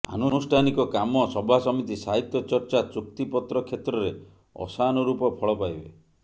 ଆନୁଷ୍ଠାନିକ କାମ ସଭାସମିତି ସାହିତ୍ୟ ଚର୍ଚ୍ଚା ଚୁକ୍ତିପତ୍ର କ୍ଷେତ୍ରରେ ଅଶାନୁରୂପ ଫଳ ପାଇବେ